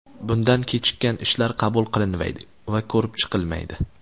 Bundan kechikkan ishlar qabul qilinmaydi va ko‘rib chiqilmaydi.